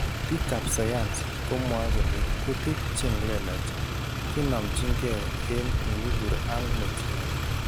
pik ap sayansi komwae kole kutik cheng lelach kinamchinge eng inipur ang netinye.